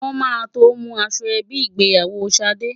Wọn máa tó mú aṣọ ẹbí ìgbéyàwó Ṣadé.